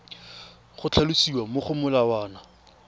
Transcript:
go tlhalosiwa mo go molawana